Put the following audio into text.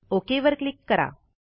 okay वर click करा